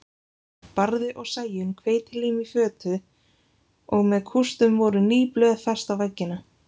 Barði og Sæunn hveitilím í fötu og með kústum voru ný blöð fest á veggina.